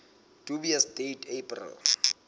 dubious date april